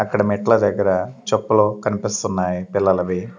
అక్కడ మెట్ల దగ్గర చెప్పులు కనిపిస్తున్నాయి పిల్లలవి.